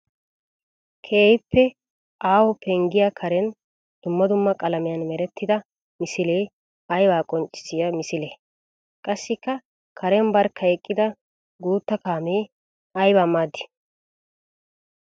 Keehippe aaho penggiya karen dumma dumma qalamiyan merettidda misile aybba qonccisiya misile? Qassikka karen barkka eqqidda guuta kaamme aybba maaddi?